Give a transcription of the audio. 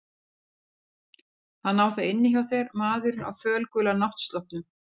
Hann á það inni hjá þér maðurinn á fölgula náttsloppnum.